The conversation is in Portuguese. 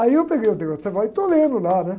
Aí eu peguei o degré de savoir, e estou lendo lá, né?